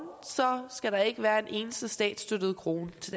ikke skal være en eneste statsstøttet krone til